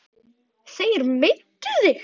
Þeir meiddu þig.